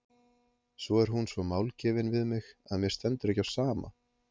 Svo er hún svo málgefin við mig að mér stendur ekki á sama.